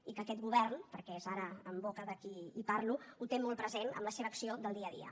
i que aquest govern perquè és ara en boca de qui parlo ho té molt present amb la seva acció del dia a dia